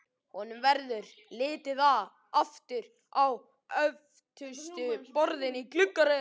Honum verður litið aftur á öftustu borðin í gluggaröðinni.